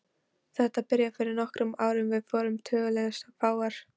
Þetta byrjaði fyrir nokkrum árum og við vorum tiltölulega fáar.